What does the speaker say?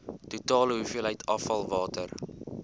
totale hoeveelheid afvalwater